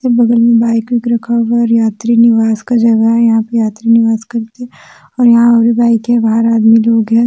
बगल में बाइक वाइक रखा हुआ है और यात्री निवास का जगह है। यहां पे यात्री निवास करते हैं। और यहां और भी बाइक है। बाहर आदमी लोग हैं।